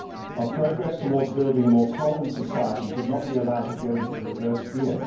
Our progress towards building a more tolerant society should not be allowed to go into reverse gear.